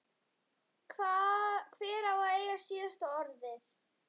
Hver á að eiga síðasta orðið?